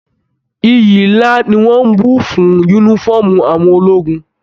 Ìyí nlá ní wọn n bù fún yúnífọ̀ọ́mù àwọn ológun.